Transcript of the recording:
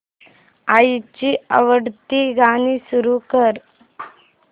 आईची आवडती गाणी सुरू कर